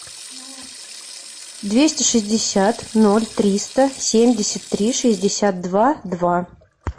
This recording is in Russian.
двести шестьдесят ноль триста семьдесят три шестьдесят два два